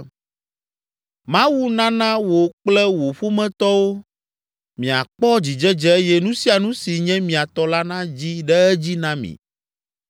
“Mawu nana wò kple wò ƒometɔwo miakpɔ dzidzedze eye nu sia nu si nye mia tɔ la nadzi ɖe edzi na mi.